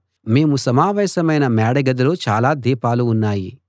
మేము సమావేశమైన మేడగదిలో చాలా దీపాలు ఉన్నాయి